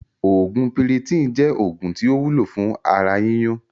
Oògún Piriton jẹ́ oògùn tí ó wúlò fún ara yíyún